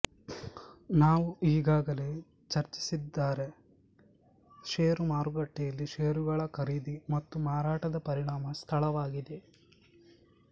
ನಾವು ಈಗಾಗಲೇ ಚರ್ಚಿಸಿದ್ದಾರೆ ಶೇರು ಮಾರುಕಟ್ಟೆಯಲ್ಲಿ ಶೇರುಗಳ ಖರೀದಿ ಮತ್ತು ಮಾರಾಟದ ಪರಿಣಾಮ ಸ್ಥಳವಾಗಿದೆ